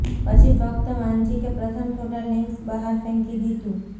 પછી ફક્ત વાંચી કે પ્રથમ થોડા લિંક્સ બહાર ફેંકી દીધું